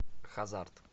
хазард